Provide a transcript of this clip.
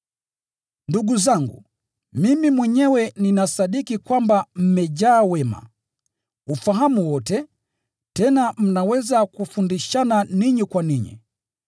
Ndugu zangu, mimi mwenyewe ninasadiki kwamba mmejaa wema na ufahamu wote, tena mnaweza kufundishana ninyi kwa ninyi.